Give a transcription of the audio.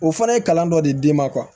O fana ye kalan dɔ de d'e ma